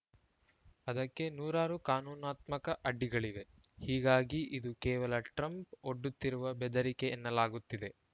ಅದಕ್ಕೆ ನೂರಾರು ಕಾನೂನಾತ್ಮಕ ಅಡ್ಡಿಗಳಿವೆ ಹೀಗಾಗಿ ಇದು ಕೇವಲ ಟ್ರಂಪ್‌ ಒಡ್ಡುತ್ತಿರುವ ಬೆದರಿಕೆ ಎನ್ನಲಾಗುತ್ತಿದೆ